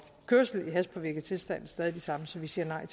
kørsel i hashpåvirket tilstand stadig de samme så vi siger nej